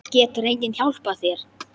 Getur enginn hjálpað þér?